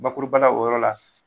Bakuruba la o yɔrɔ la